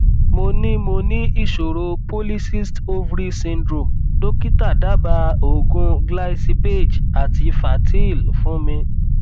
mo ní mo ní ìṣòro polycyst ovary syndrome dókítà dábàá oògùn glycipaage àti fertyl fún mi